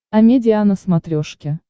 амедиа на смотрешке